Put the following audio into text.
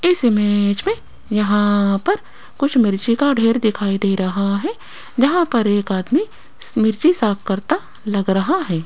इस इमेज में यहां पर कुछ मिर्ची का ढेर दिखाई दे रहा है जहां पर एक आदमी मिर्ची साफ करता लग रहा है।